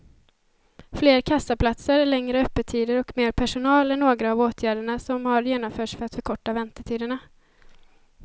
Fler kassaplatser, längre öppettider och mer personal är några av åtgärderna som har genomförts för att förkorta väntetiderna.